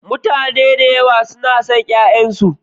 Mutane da yawa na son ƴaƴansu.